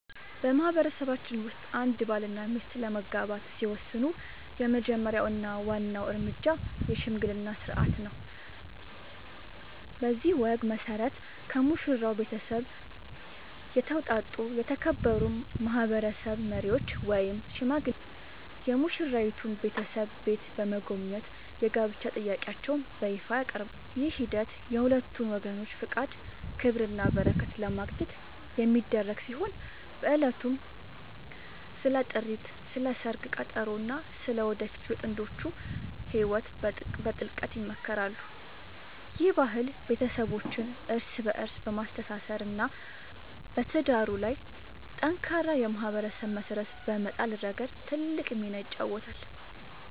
በማህበረሰባችን ውስጥ አንድ ባልና ሚስት ለመጋባት ሲወስኑ የመጀመሪያው እና ዋናው እርምጃ **የሽምግልና ሥርዓት** ነው። በዚህ ወግ መሠረት፣ ከሙሽራው ቤተሰብ የተውጣጡ የተከበሩ ማህበረሰብ መሪዎች ወይም ሽማግሌዎች የሙሽራይቱን ቤተሰብ ቤት በመጎብኘት የጋብቻ ጥያቄያቸውን በይፋ ያቀርባሉ። ይህ ሂደት የሁለቱን ወገኖች ፈቃድ፣ ክብርና በረከት ለማግኘት የሚደረግ ሲሆን፣ በዕለቱም ስለ ጥሪት፣ ስለ ሰርግ ቀጠሮ እና ስለ ወደፊቱ የጥንዶቹ ህይወት በጥልቀት ይመካከራሉ። ይህ ባህል ቤተሰቦችን እርስ በእርስ በማስተሳሰር እና በትዳሩ ላይ ጠንካራ የማህበረሰብ መሰረት በመጣል ረገድ ትልቅ ሚና ይጫወታል።